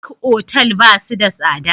Duk otal ba su da tsada?